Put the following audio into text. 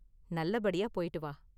நல்லபடியா போய்ட்டு வா.